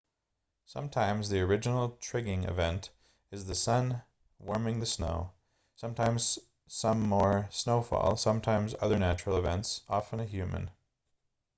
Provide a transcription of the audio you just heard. sometimes the original trigging event is the sun warming the snow sometimes some more snowfall sometimes other natural events often a human